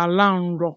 ala nrọ.